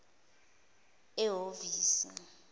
ehovisi